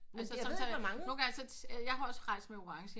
Altså sådan nogle gange jeg har også rejst med orange